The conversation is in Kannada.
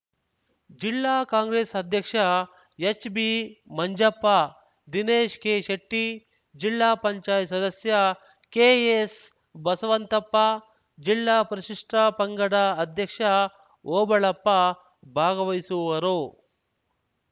ಜಿಲ್ಲಾ ಕಾಂಗ್ರೆಸ್‌ ಅಧ್ಯಕ್ಷ ಎಚ್‌ಬಿಮಂಜಪ್ಪ ದಿನೇಶ್ ಕೆಶೆಟ್ಟಿ ಜಿಲ್ಲಾ ಪಂಚಾಯತ್ ಸದಸ್ಯ ಕೆಎಸ್‌ ಬಸವಂತಪ್ಪ ಜಿಲ್ಲಾ ಪರಿಶಿಷ್ಟಪಂಗಡ ಅಧ್ಯಕ್ಷ ಓಬಳಪ್ಪ ಭಾಗವಹಿಸುವರು